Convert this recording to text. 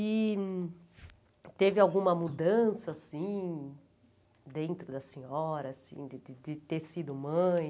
E teve alguma mudança, assim, dentro da senhora, assim, de ter sido mãe?